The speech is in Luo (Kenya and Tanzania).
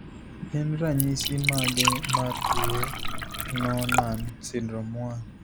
Gin ranyisi mage mar tuo Noonan syndrome 1?